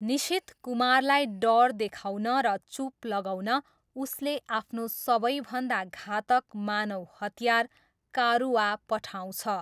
निसिथ कुमारलाई डर देखाउन र चुप लगाउन उसले आफ्नो सबैभन्दा घातक मानव हतियार कारुआ पठाउँछ।